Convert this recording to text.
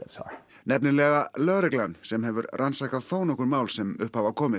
nefnilega lögreglan sem hefur rannsakað þónokkur mál sem upp hafa komið